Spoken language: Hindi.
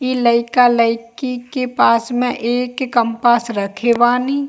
इ लइका-लइकी के पास में एक कंपास रखे बानी।